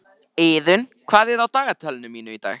Iðunn, hvað er á dagatalinu mínu í dag?